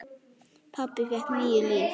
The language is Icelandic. Pabbi fékk níu líf.